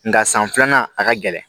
Nka san filanan a ka gɛlɛn